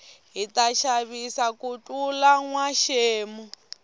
hita xavisa ku tlula nwa xemu